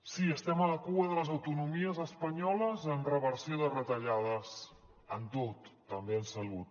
sí estem a la cua de les autonomies espanyoles en reversió de retallades en tot també en salut